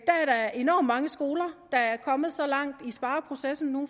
der enormt mange skoler der er kommet så langt i spareprocessen nu